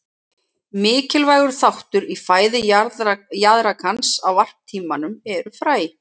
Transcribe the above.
Mikilvægur þáttur í fæðu jaðrakans á varptímanum eru fræ.